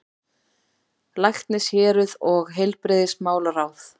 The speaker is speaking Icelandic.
LÆKNISHÉRUÐ OG HEILBRIGÐISMÁLARÁÐ